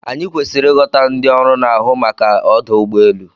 Anyị kwesịrị ịghọta ndị ọrụ na-ahụ maka ọdụ ụgbọ elu.